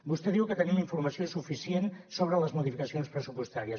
vostè diu que tenim informació suficient sobre les modificacions pressupostàries